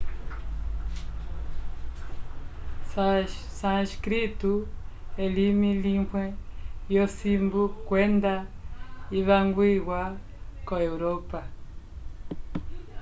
sânscrito elimi limwe lyosimbu kwenda ivangwiwa ko europa